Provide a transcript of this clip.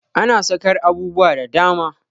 Ana saƙar abubuwa da dama.